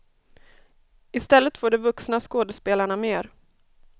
Istället får de vuxna skådespelarna mer.